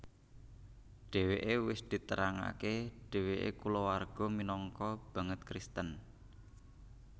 Dheweke wis diterangake dheweke kulawarga minangka banget Kristen